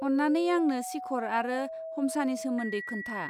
अन्नानै आंनो शिखर आरो हमसानि सोमोन्दै खोन्था।